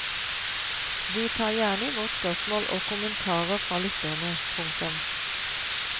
Vi tar gjerne imot spørsmål og kommentarer fra lytterne. punktum